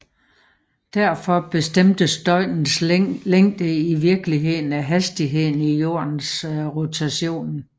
Derfor bestemmes døgnets længde i virkeligheden af hastigheden i jordens rotation